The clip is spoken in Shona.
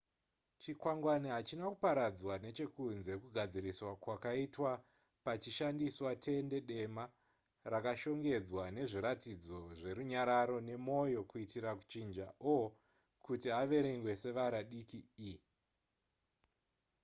chikwangwani hachina kuparadzwa nechekunze kugadziriswa kwakaitwa pachishandiswa tende dema rakashongedzwa nezviratidzo zverunyararo nemoyo kuitira kuchinja o kuti averengwe sevara diki e